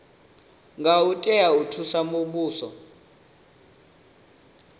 ngo tea u thusa muvhuso